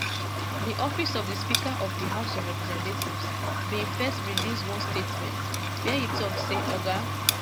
di office of di speaker of di house of representatives bin first release one statement wia e tok say oga